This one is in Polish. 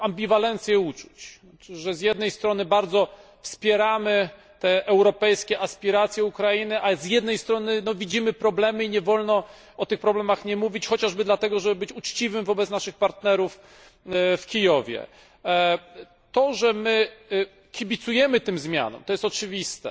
taką ambiwalencję uczuć. Z jednej strony, bardzo wspieramy te europejskie aspiracje Ukrainy, ale z drugiej strony widzimy problemy i nie wolno o tych problemach nie mówić, chociażby dlatego, żeby być uczciwym wobec naszych partnerów w Kijowie. To, że my kibicujemy tym zmianom, jest oczywiste,